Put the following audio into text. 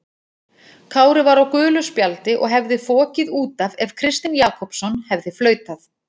Kári var á gulu spjaldi og hefði fokið út af ef Kristinn Jakobsson hefði flautað.